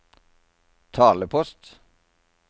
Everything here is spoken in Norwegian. talepost